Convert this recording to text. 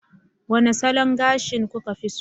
Wane salon gashi kuka fi so